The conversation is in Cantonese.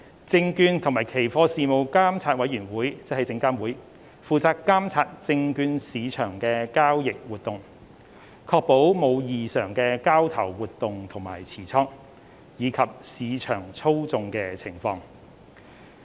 證券及期貨事務監察委員會負責監察證券市場的交易活動，確保無異常的交投活動及持倉，以及市場操控的情況。